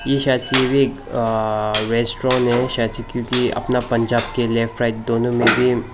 Restaurant है अपना पंजाब के लेफ्ट राइट दोनों में भी।